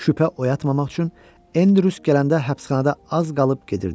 Şübhə oyatmamaq üçün Endrus gələndə həbsxanada az qalıb gedirdi.